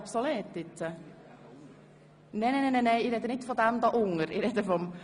Deshalb werden wir die Abstimmung wahrscheinlich wiederholen.